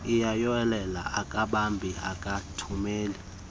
uyayolela akabhali akathumeli